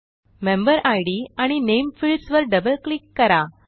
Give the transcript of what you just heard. member ID आणि name fields वर double click करा